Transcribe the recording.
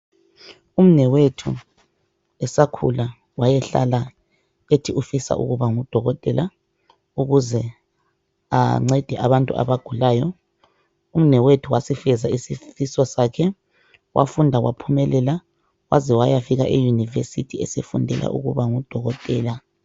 Umnewethu esakhula wayehlala ethi ufisa ukuba ngudokotela ukuze ancede abantu abagulayo. Umnewethu wasifeza isifiso sakhe wafunda waphumelela waze wayafika eYunivesithi esefundela ukuba ngudokotela.